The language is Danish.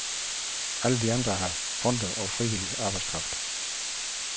Alle de andre har fonde og frivillig arbejdskraft.